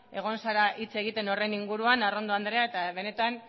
egon zara hitz egiten horren inguruan arrondo andrea eta benetan